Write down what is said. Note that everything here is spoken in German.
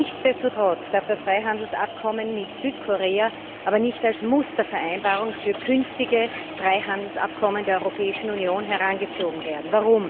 Nichtsdestotrotz darf das Freihandelsabkommen mit Südkorea aber nicht als Mustervereinbarung für künftige Freihandelsabkommen der Europäischen Union herangezogen werden.